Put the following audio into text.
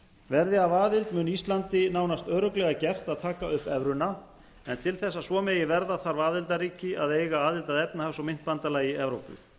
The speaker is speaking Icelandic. verði af aðild mun íslandi nánast örugglega gert að taka upp evruna en til þess að svo megi verða þarf aðildarríki að eiga aðild að efnahags og myntbandalagi evrópu